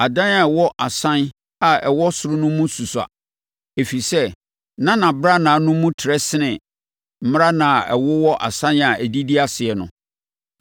Adan a ɛwɔ asan a ɛwɔ ɔsoro no mu susua, ɛfiri sɛ na nʼabrannaa no mu trɛ sene mmrannaa a ɛwowɔ nsan a ɛdidi aseɛ no.